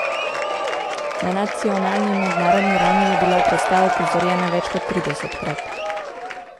Na nacionalni in mednarodni ravni je bila predstava uprizorjena več kot tridesetkrat.